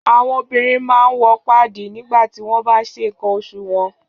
Àwọn obìnrin máa ń wọ páàdì nígba ti won baan nse nkan oṣù wọn.